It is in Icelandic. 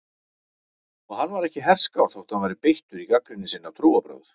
Og hann var ekki herskár þótt hann væri beittur í gagnrýni sinni á trúarbrögð.